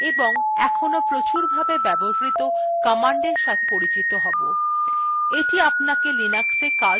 the আপনাকে linuxa কাজ শুরু করতে উত্সাহিত করবে